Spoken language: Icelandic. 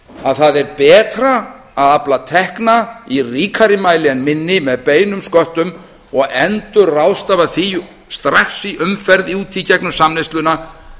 að það er betra að afla tekna í ríkari mæli en minni með beinum sköttum og endurráðstafa því strax í umferð út í gegnum samneysluna